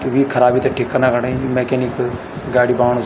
त वी खराबी थै ठीक कना खणे मैकेनिक गाडी बणाणु।